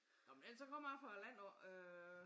Nå men ellers så kommer jeg fra æ land af øh